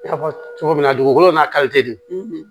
I y'a fɔ cogo min na dugukolo n'a de